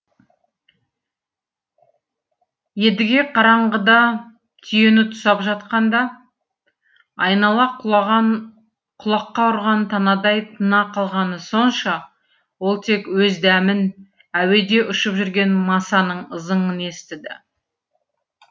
едіге қараңғыда түйені тұсап жатқанда айнала құлаған құлаққа ұрған танадай тына қалғаны сонша ол тек өз дәмін әуеде ұшып жүрген масаның ызыңын естіді